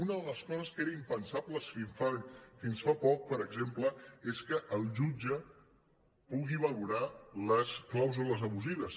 una de les coses que era impensable fins fa poc per exemple és que el jutge pugui valorar les clàusules abusives